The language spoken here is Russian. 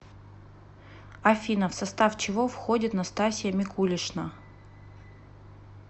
афина в состав чего входит настасья микулишна